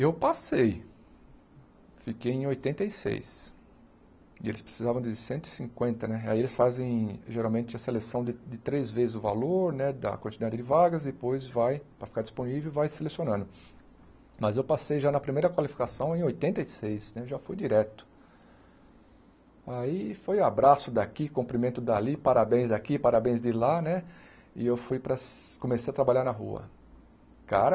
eu passei fiquei em oitenta e seis e eles precisavam de cento e cinquenta né aí eles fazem geralmente a seleção de de três vezes o valor né da quantidade de vagas depois vai para ficar disponível vai selecionando mas eu passei já na primeira qualificação em oitenta e seis né já foi direto aí foi abraço daqui cumprimento dali parabéns aqui parabéns de lá né e eu fui para comecei a trabalhar na rua cara